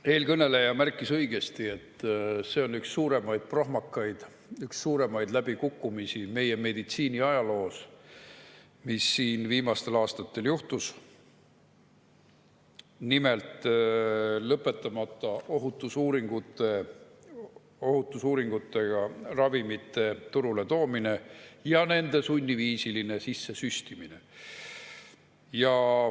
Eelkõneleja märkis õigesti, et see on üks suuremaid prohmakaid, üks suuremaid läbikukkumisi meie meditsiini ajaloos, mis siin viimastel aastatel juhtus: nimelt, lõpetamata ohutusuuringutega ravimite turule toomine ja nende sunniviisiline sisse süstimine.